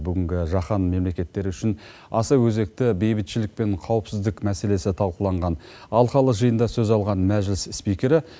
бүгінгі жаһан мемлекеттері үшін аса өзекті бейбітшілік пен қауіпсіздік мәселесі талқыланған алқалы жиында сөз алған мәжіліс спикері